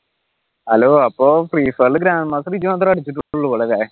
hello അപ്പൊ free ഫയറിൽ മാത്രം അടിച്ചിട്ടുള്ളു അല്ലേ?